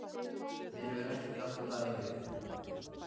Mér hefur ekki dottið það í hug.